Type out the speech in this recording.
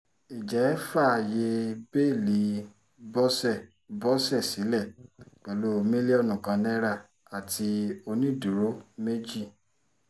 ìjẹh fàáyé bẹ́ẹ́lí bọ́sẹ̀ bọ́sẹ̀ sílẹ̀ pẹ̀lú mílíọ̀nù kan naira àti onídùúró méjì